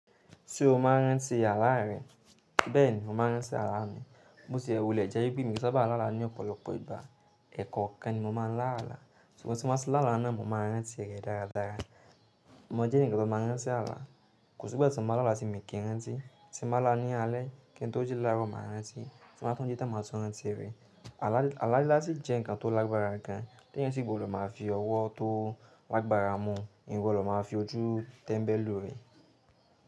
Ṣé o máa rántí àlá rẹ? Bẹ́ẹ̀ni, mo máa rántí àlá mi. Bó ti ì wulè jẹ́ pé mi ò saba à lála ní ọ̀pọ̀lọpọ̀ ìgbà. Ẹ̀ekọ́kan ni mo máa ń lá àlá. Sugbon tí mo bá tí lálá náà, mo máa rántí rẹ̀ dára dára. Mọ̀ jẹ́ enìkan to máa n rántí àlá. Kò sí igba ti mó má lálá ti mó kì ń rán tí, ti mó má lá ní alẹ́, kí n tó jí láro má rántí, ti mó bá tuń ji tàn mà tun rántí rẹ̀. Àlá lílá ṣì jẹ́ nǹkan tó lágbára gan. Tí ẹ̀eyan sí gbodo máa fi ọwọ́ tó lágbára mú, eeyan o gbodo o máa fi ojú tẹ́mbẹ́ lù ú rẹ̀.